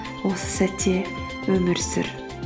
осы сәтте өмір сүр